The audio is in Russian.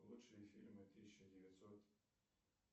лучшие фильмы тысяча девятьсот